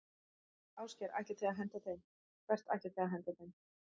Ásgeir: Ætlið þið að henda þeim, hvert ætlið þið að henda þeim?